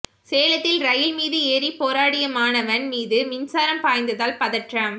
சேலத்தில் ரயில் மீது ஏறி போராடிய மாணவன் மீது மின்சாரம் பாய்ந்ததால் பதற்றம்